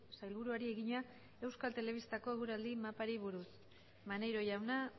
sailburuari egina euskal telebistako eguraldi mapari buruz maneiro jauna